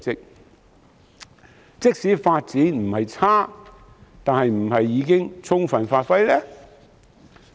然而，即使發展不差，是否已充分發揮呢？